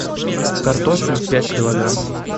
картофель пять килограмм